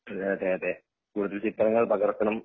അതെ അതെ അതെ കൂടുത ചിത്രങ്ങൾ പകർത്തനം